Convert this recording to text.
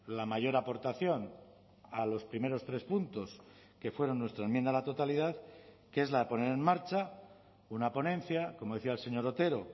la mayor aportación a los primeros tres puntos que fueron nuestra enmienda a la totalidad que es la de poner en marcha una ponencia como decía el señor otero